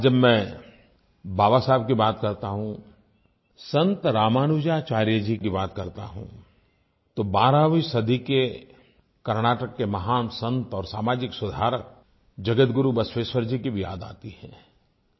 आज जब मैं बाबा साहब की बात करता हूँ संत रामानुजाचार्य जी की बात करता हूँ तो 12वीं सदी के कर्नाटक के महान संत और सामाजिक सुधारक जगत गुरु बसवेश्वर जी की भी याद आती है